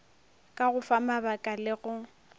ka go famabaka le go